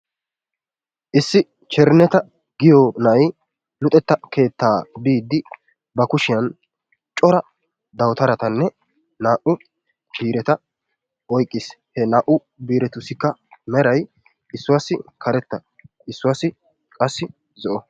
Issi Cherinneta giyo na'ay luxetta keettaa biiddi ba kushshiyaan cora dawutaratanne naa''u biiretta oyqqiis. He naa''u biiretussikka meray issuwassi karetta issuwassi qassi zo'o.